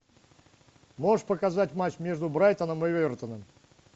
можешь показать матч между брайтоном и эвертоном